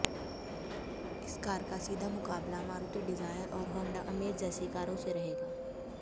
इस कार का सीधा मुकाबला मारुति डिजायर और होंडा अमेज जैसी कारों से रहेगा